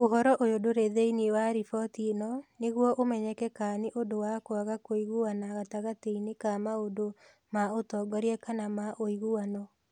Ũhoro ũyũ ndũrĩ thĩinĩ wa riboti ĩno nĩguo ũmenyeke kana nĩ ũndũ wa kwaga kũiguana gatagatĩ-inĩ ka maũndũ ma ũtongoria kana ma ũiguano.